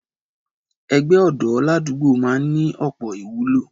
Ẹgbẹ́ ọ̀dọ́ ládùúgbò máa ń ní ọ̀pọ̀ ìwúlò